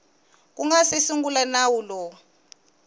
nga si sungula nawu lowu